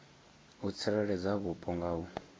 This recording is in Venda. u tsireledza vhupo nga u